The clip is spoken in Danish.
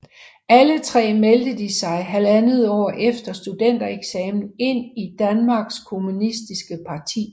Alle tre meldte de sig halvandet år efter studentereksamen ind i Danmarks Kommunistiske Parti